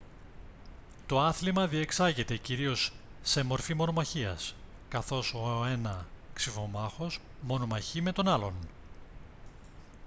το άθλημα διεξάγεται κυρίως σε μορφή μονομαχίας καθώς ο ένα ξιφομάχος μονομαχεί με τον άλλο